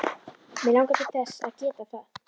Mig langar til þess að geta það.